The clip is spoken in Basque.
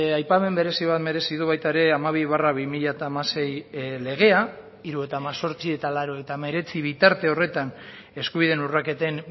aipamen berezi bat merezi du baita ere hamabi barra bi mila hamasei legea hirurogeita hemezortzi eta laurogeita hemeretzi bitarte horretan eskubideen urraketen